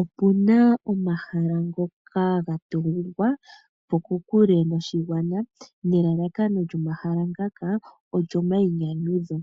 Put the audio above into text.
Opuna omahala ngoka gatungwapo kokule noshigwana, nelalakano lyomahala ngaka olyomainyanyudho.